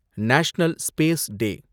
national space day